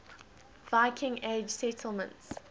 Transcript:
viking age settlements